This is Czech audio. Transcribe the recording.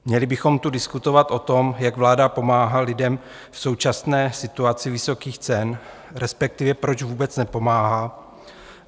Měli bychom tu diskutovat o tom, jak vláda pomáhá lidem v současné situaci vysokých cen, respektive proč vůbec nepomáhá.